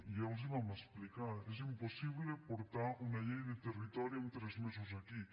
ja els ho vam explicar és impossible portar una llei de territori en tres mesos aquí